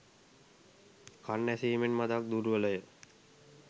කන් ඇසීමෙන් මඳක් දුර්වලය